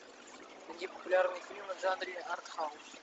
найди популярные фильмы в жанре артхаус